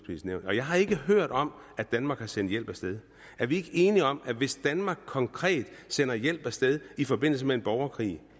nævn og jeg har ikke hørt om at danmark har sendt hjælp af sted er vi ikke enige om at hvis danmark konkret sender hjælp af sted i forbindelse med en borgerkrig